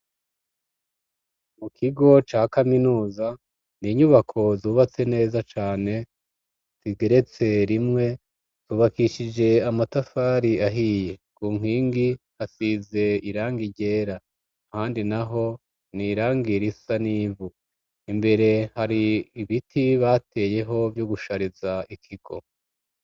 Mu kigo ca kaminuza ni inyubako zubatse neza cane zigeretse rimwe tubakishije amatafari ahiye ngu mpwingi hasize iranga iryera handi na ho ni irangira isa n'ivu imbere hari ibiti bateyeho vyo ugushariza ikigo.